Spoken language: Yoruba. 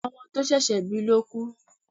Ọmọ to sẹ̀sé̩ bi ló kú